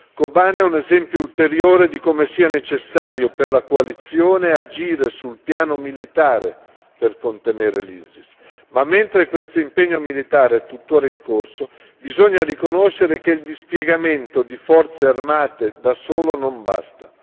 Kobane è un esempio ulteriore di come sia necessario per la coalizione agire sul piano militare per contenere l'ISIS, ma mentre questo impegno militare è tuttora in corso, bisogna riconoscere che il dispiegamento di forze armate da solo non basta.